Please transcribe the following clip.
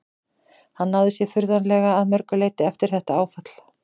Hann náði sér furðanlega að mörgu leyti eftir þetta áfall.